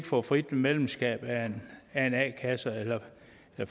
få frit medlemskab af en a kasse eller